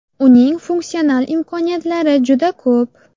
Uning funksional imkoniyatlari juda ko‘p.